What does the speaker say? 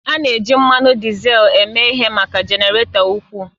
A na-eji mmanụ dizel eme ihe maka jenaratọ ukwuu